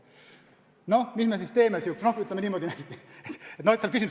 No mis me siis teeme?